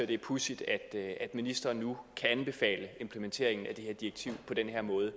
det er pudsigt at ministeren nu kan anbefale implementeringen af det her direktiv på den her måde